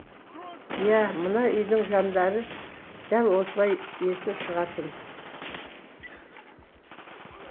иә мына үйдің жандары дәл осылай есі шығатын